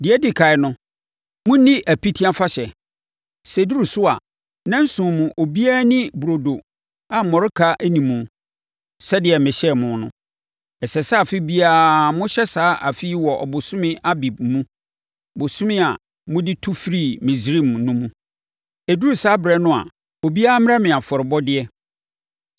“Deɛ ɛdi ɛkan no, monni Apiti Afahyɛ. Sɛ ɛduru so a, nnanson mu, obiara nni burodo a mmɔreka nni mu sɛdeɛ mehyɛɛ mo no. Ɛsɛ sɛ afe biara mohyɛ saa fa yi wɔ ɔbosome Abib + 23.15 Yudafoɔ bosome a ɛne asranna bosome Ɔbɛnem hyia. mu, bosome a mode tu firii Misraim no mu. “Ɛduru saa ɛberɛ no a, obiara mmrɛ me afɔrebɔdeɛ.